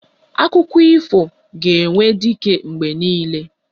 Akụkọ ifo ga-enwe dike mgbe niile